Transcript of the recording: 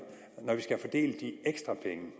når vi skal fordele de ekstra penge